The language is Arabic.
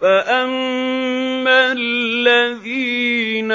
فَأَمَّا الَّذِينَ